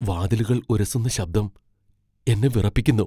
വാതിലുകൾ ഉരസുന്ന ശബ്ദം എന്നെ വിറപ്പിക്കുന്നു.